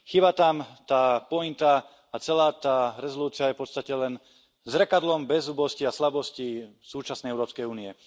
Chýba tam tá pointa a celá tá rezolúcia je v podstate len zrkadlom bezzubosti a slabosti súčasnej Európskej únie.